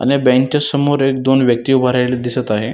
अण या बँक च्या समोर एक दोन व्यक्ती उभा राहिलेले दिसत आहे.